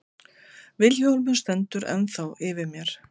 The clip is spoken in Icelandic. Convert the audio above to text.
Vilhjálmur stendur ennþá yfir mér.